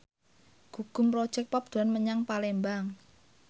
Gugum Project Pop dolan menyang Palembang